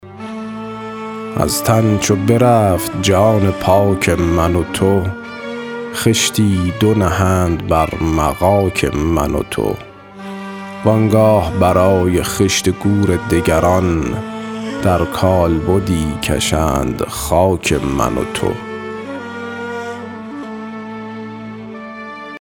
از تن چو برفت جان پاک من و تو خشتی دو نهند بر مغاک من و تو وآنگاه برای خشت گور دگران در کالبدی کشند خاک من و تو